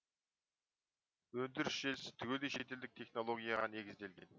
өндіріс желісі түгелдей шетелдік технологияға негізделген